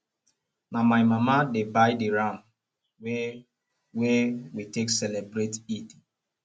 na my mama dey buy di ram wey wey we take celebrate eid